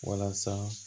Walasa